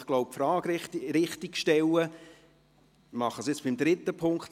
Ich glaube, ich sollte die Frage richtig stellen, und tue dies beim dritten Punkt.